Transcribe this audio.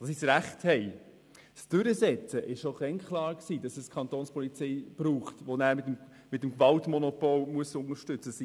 Es war schon damals klar, dass es für die Durchsetzung dieses Rechts die Kapo braucht, die die Gemeindeangestellten mit dem Gewaltmonopol unterstützen muss.